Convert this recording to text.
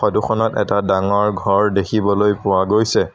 Photo খনত এটা ডাঙৰ ঘৰ দেখিবলৈ পোৱা গৈছে।